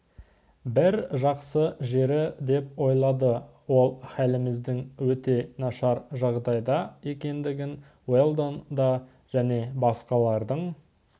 бір жақсы жері деп ойлады ол халіміздің өте нашар жағдайда екендігін уэлдон да және басқалардың